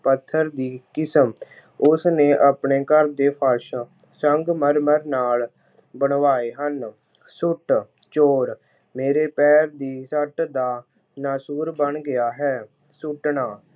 ਪੱਥਰ ਦੀ ਕਿਸਮ- ਉਸਨੇ ਆਪਣੇ ਘਰ ਦੇ ਫਰਸ਼ ਸੰਗਮਰਮਰ ਨਾਲ ਬਣਵਾਏ ਹਨ। ਸੱਟ- ਚੋਟ- ਮੇਰੇ ਪੈਰ ਦੀ ਸੱਟ ਦਾ ਨਾਸੂਰ ਬਣ ਗਿਆ ਹੈ । ਸੁੱਟਣਾ